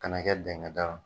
Kana kɛ dɛngɛda.